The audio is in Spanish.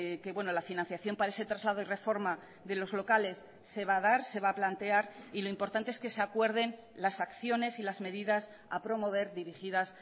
que la financiación para ese traslado y reforma de los locales se va a dar se va a plantear y lo importante es que se acuerden las acciones y las medidas a promover dirigidas